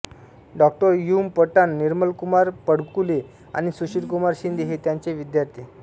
डॉ U म पठाण निर्मलकुमार फडकुले आणि सुशीलकुमार शिंदे हे त्यांचे विद्यार्थी